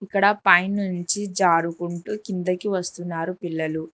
ఇక్కడ పైనుంచి జారుకుంటూ కిందకి వస్తున్నారు పిల్లలు.